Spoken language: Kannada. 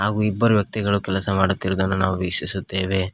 ಹಾಗೂ ಇಬ್ಬರು ವ್ಯಕ್ತಿಗಳು ಕೆಲಸ ಮಾಡುತ್ತಿರುವುದನ್ನು ನಾವು ವೀಕ್ಷಿಸುತ್ತೇವೆ.